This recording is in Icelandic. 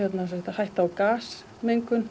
hætta á